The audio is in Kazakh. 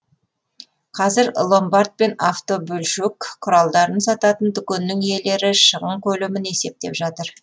қазір ломбард пен автобөлшек құралдарын сататын дүкеннің иелері шығын көлемін есептеп жатыр